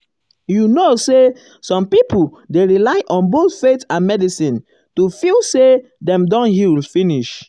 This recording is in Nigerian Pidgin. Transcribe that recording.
you know say some people dey rely on both faith and medicine to feel say dem don um heal finish.